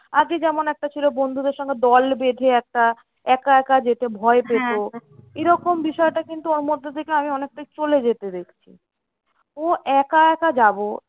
আগে যেমন একটা ছিল বন্ধুদের সঙ্গে দল বেঁধে একটা একা একা যেতে ভয় পেত। এরকম বিষয়টা কিন্তু ওর মধ্যে থেকে আমি অনেকটাই চলে যেতে দেখছি। ও একা একা যাবো